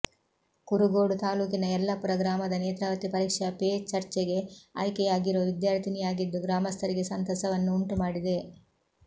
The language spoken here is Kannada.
ಕುರುಗೋಡು ತಾಲೂಕಿನ ಯಲ್ಲಪುರ ಗ್ರಾಮದ ನೇತ್ರಾವತಿ ಪರೀಕ್ಷಾ ಪೇ ಚರ್ಚೆಗೆ ಆಯ್ಕೆಯಾಗಿರೋ ವಿದ್ಯಾರ್ಥಿನಿಯಾಗಿದ್ದು ಗ್ರಾಮಸ್ಥರಿಗೆ ಸಂತಸವನ್ನು ಉಂಟುಮಾಡಿದೆ